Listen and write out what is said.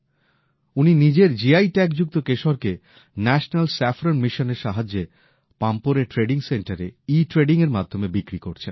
উনি নিজের জিআই ট্যাগযুক্ত কেশরকে ন্যাশনাল স্যাফরন মিশনের সাহায্যে পম্পোরের ট্রেডিং সেন্টারে ইট্রেডিংএর মাধ্যমে বিক্রি করছেন